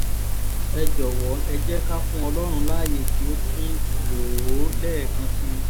ẹ jọ̀wọ́ ẹ̀ jẹ́ ká fún ọlọ́run láàyè kí ó tún lò ó lẹ́ẹ̀kan sí i